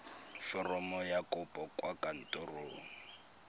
foromo ya kopo kwa kantorong